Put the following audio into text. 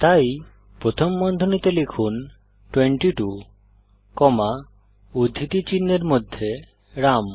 তাই প্রথম বন্ধনীতে লিখুন 22 কমা উদ্ধৃতি চিনহের মধ্যে রাম